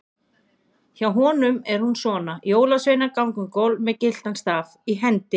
Hjá honum er hún svona: Jólasveinar ganga um gólf með gyltan staf í hendi.